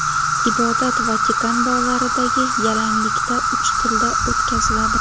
Ibodat Vatikan bog‘laridagi yalanglikda uch tilda o‘tkaziladi.